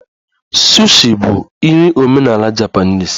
Sushi bụ nri omenala Japanese